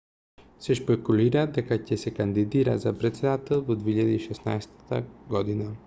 се шпекулира дека ќе се кандидира за претседател во 2016 година